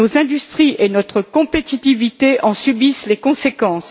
Nos industries et notre compétitivité en subissent les conséquences.